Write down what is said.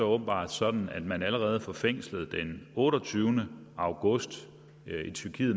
åbenbart sådan at man allerede fra fængslet i tyrkiet den otteogtyvende august